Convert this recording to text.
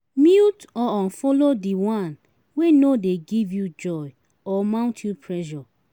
Mute or unfollow di one wey no de give you joy or mount you pressure